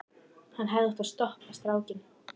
Hann hefði átt að stoppa strákinn.